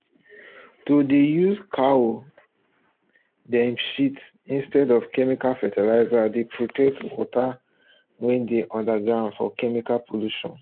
to dey use cow um dem shit instead of chemical fertilizers dey protect water wey dey underground from chemical pollution